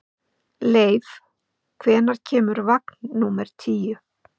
Leif, hvenær kemur vagn númer tíu?